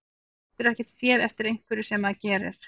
Maður getur ekkert séð eftir einhverju sem maður gerir.